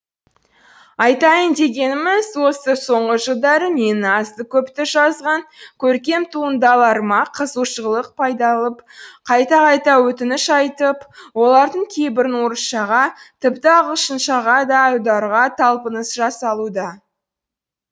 айтайын дегеніміз осы соңғы жылдары менің азды көпті жазған көркем туындыларыма қызығушылық байқалып қайта қайта өтініш айтып олардың кейбірін орысшаға тіпті ағылшыншаға да аударуға талпыныс жасалуда